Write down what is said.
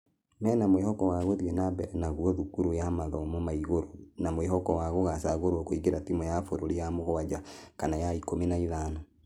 Mena mwĩhoko wa gũthie na mbere naguo thukuru ya mathomo ma igũrũ na mwĩhoko wa gũcagorwo kũingĩra timũ ya bũrũri ya mũgwaja kana ya ikũmi na ithano.